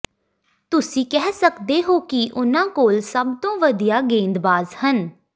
ਤੁਸੀਂ ਕਹਿ ਸਕਦੇ ਹੋ ਕਿ ਉਨ੍ਹਾਂ ਕੋਲ ਸਭ ਤੋਂ ਵਧੀਆ ਗੇਂਦਬਾਜ਼ ਹਨ